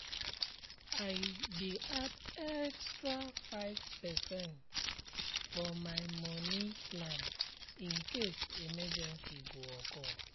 i dey add extra five percent for my moni plan in case emergency go occur